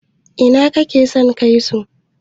ina kake son kai su?